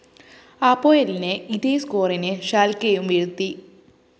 അപോയലിനെ ഇതേ സ്‌കോറിന് ഷാല്‍ക്കെയും വീഴ്ത്തി